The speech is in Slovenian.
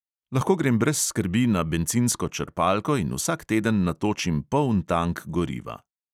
Lahko grem brez skrbi na bencinsko črpalko in vsak teden natočim poln tank goriva.